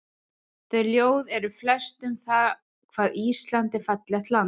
Þau ljóð eru flest um það hvað Ísland er fallegt land.